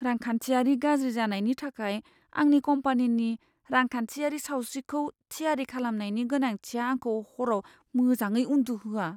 रांखान्थियारि गाज्रि जानायनि थाखाय आंनि कम्पानिनि रांखान्थियारि सावस्रिखौ थियारि खालामनायनि गोनांथिया आंखौ हराव मोजाङै उन्दुहोआ।